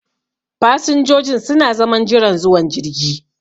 Fasinjojin su na zaman jiran zuwan jirgi.